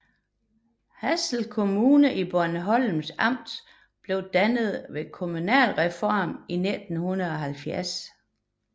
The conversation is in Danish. Hasle Kommune i Bornholms Amt blev dannet ved kommunalreformen i 1970